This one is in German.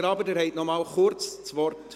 Graber hat nochmals kurz das Wort.